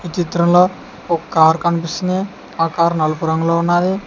ఈ చిత్రంలో ఒక కారు కనిపిస్తుంది ఆ కారు నలుపు రంగులో ఉన్నాది.